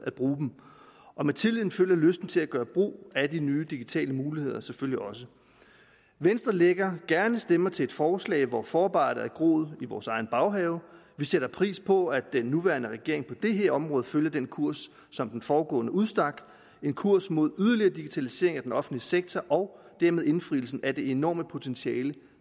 at bruge dem med tilliden følger lysten til at gøre brug af de nye digitale muligheder selvfølgelig også venstre lægger gerne stemmer til et forslag hvor forarbejdet har groet i vores egen baghave vi sætter pris på at den nuværende regering på det her område følger den kurs som den foregående udstak en kurs mod yderligere digitalisering af den offentlige sektor og dermed indfrielsen af det enorme potentiale